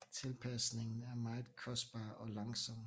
Tilpasningen er meget kostbar og langsom